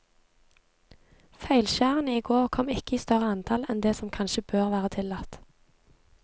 Feilskjærene i går kom ikke i større antall enn det som kanskje bør være tillatt.